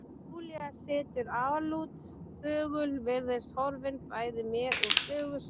Júlía situr álút, þögul, virðist horfin bæði mér og sögu sinni.